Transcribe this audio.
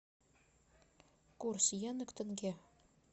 курс йены к тенге